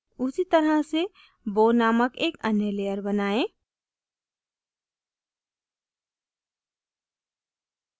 उसी तरह से bow named एक अन्य layer बनाएं